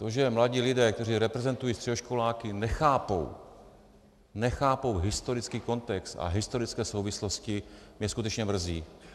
To, že mladí lidé, kteří reprezentují středoškoláky, nechápou, nechápou historický kontext a historické souvislosti, mě skutečně mrzí.